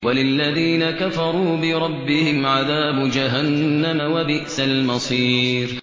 وَلِلَّذِينَ كَفَرُوا بِرَبِّهِمْ عَذَابُ جَهَنَّمَ ۖ وَبِئْسَ الْمَصِيرُ